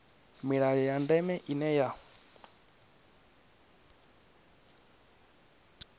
milayo ya ndeme ine ya